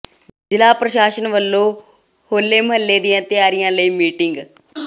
ਜ਼ਿਲ੍ਹਾ ਪ੍ਰਸ਼ਾਸਨ ਵੱਲੋਂ ਹੋਲੇ ਮਹੱਲੇ ਦੀਆਂ ਤਿਆਰੀਆਂ ਲਈ ਮੀਟਿੰਗ